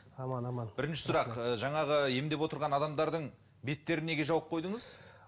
аман аман бірінші сұрақ жаңағы емдеп отырған адамдардың беттерін неге жауып қойдыңыз